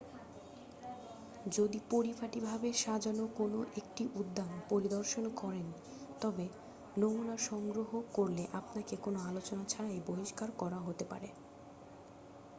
"যদি পরিপাটি ভাবে সাজানো কোন একটি উদ্যান পরিদর্শন করেন তবে "নমুনা" সংগ্রহ করলে আপনাকে কোনও আলোচনা ছাড়াই বহিষ্কার করা হতে পারে।